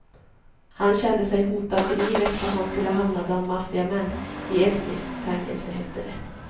Han kände sig hotad till livet om han skulle hamna bland maffiamän i estniskt fängelse, hette det.